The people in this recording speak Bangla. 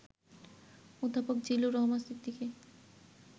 অধ্যাপক জিল্লুর রহমান সিদ্দিকী